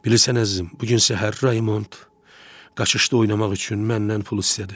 Bilirsən, əzizim, bu gün səhər Raymont qaçışda oynamaq üçün məndən pul istədi.